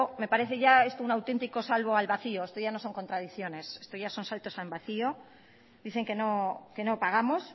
me parece ya esto un auténtico salto al vacío esto ya no son contradicciones esto ya son saltos al vacío dicen que no pagamos